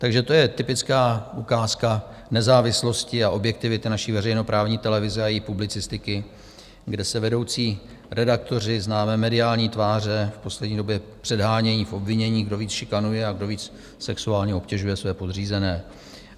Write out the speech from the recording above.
Takže to je typická ukázka nezávislosti a objektivity naší veřejnoprávní televize a její publicistiky, kde se vedoucí redaktoři, známé mediální tváře, v poslední době předhánějí v obvinění, kdo víc šikanuje a kdo víc sexuálně obtěžuje své podřízené.